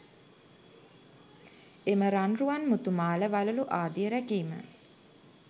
එම රන් රුවන් මුතු මාල වළලූ ආදිය රැකීම